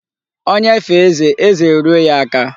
Onye fee eze, eze eruo ya aka.